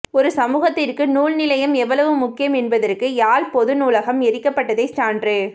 ஒரு சமூகத்திற்கு நூல் நிலையம் எவ்வளவு முக்கியம் என்பதற்கு யாழ் பொது நூலகம் எரிக்கப்பட்டதே சான்று